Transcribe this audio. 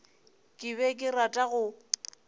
ke be ke rata go